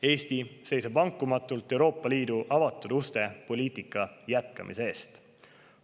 Eesti seisab vankumatult Euroopa Liidu avatud uste poliitika jätkamise eest.